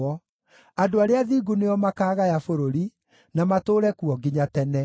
Andũ arĩa athingu nĩo makaagaya bũrũri, na matũũre kuo nginya tene.